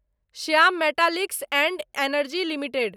Shyam Metaliks and Energy limited